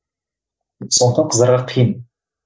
сондықтан қыздарға қиын